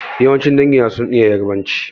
Yawancin dangi na sun iya Ƴarbanci.